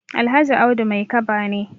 Alhaji Audu Maikaba ne.